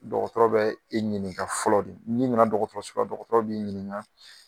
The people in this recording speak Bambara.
Dɔgɔtɔrɔ bɛ i ɲininka fɔlɔ de. Ni nana dɔgɔtɔrɔso la, dɔgɔtɔrɔ b'i ɲininka.